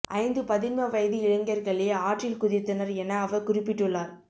ஐந்து பதின்ம வயது இளைஞர்களே ஆற்றில் குதித்தனர் என அவர் குறிப்பிட்டுள்ளார்